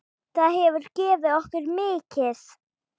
Það hefur gefið okkur mikið.